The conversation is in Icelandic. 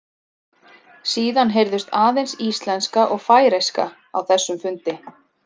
Síðan heyrðust aðeins íslenska og færeyska á þessum fundi.